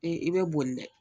i be boli dɛ